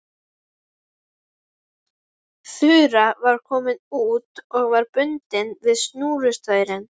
Þura var komin út og var bundin við snúrustaurinn.